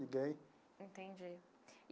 Ninguém. Entendi.